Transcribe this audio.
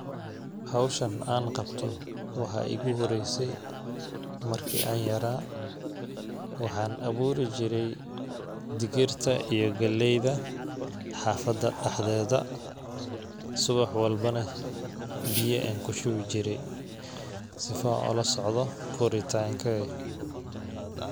Hawshan aan qabto waxaa iigu horeysay marki an yaraa ,waxaan awuuri jiray digirta iyo galleyda xaafada dhaxdeeda ,subax walbo neh biya ayaan ku shubi jiray sifa aan ula socdo koritaanka .